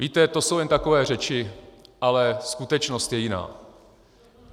Víte, to jsou jen takové řeči, ale skutečnost je jiná.